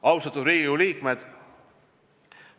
Austatud Riigikogu liikmed!